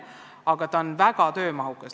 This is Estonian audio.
Aga see on väga töömahukas.